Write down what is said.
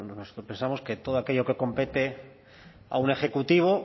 nosotros pensamos que todo aquello que compete a un ejecutivo